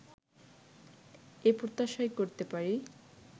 এ প্রত্যাশা করতেই পারি